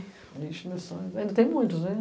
ixe, meus sonhos. Ainda tem muitos, né?